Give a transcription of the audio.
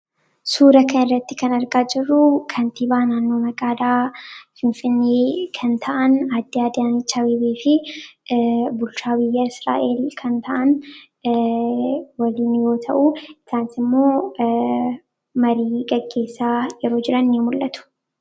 suura kan irratti kan argaa jirruu kantii baanaannoo maqaadaa finfinii kan ta'an addi adiyaanichaa wibii fi bulchaawiyya israa'el kan ta'an waliiniyoo ta'uu isaansimmoo marii qaggeessa yeroo jira ini mul'atu